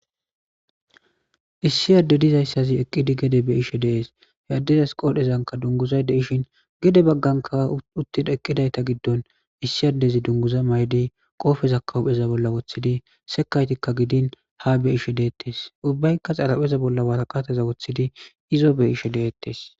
Issi adde dizayssazi eqqidi gede be ishe dees he addedas qoodhezanka dunguzayde ishin gede bagganka uttida eqqidayta giddon issi yaddezi dunguza maydi qoofeza kawupheza bolla woththidi sekaytikka gidin ha be ishe deettes ubbaykka xarapheza bolla waaqateza woththidi izo be ishe deettes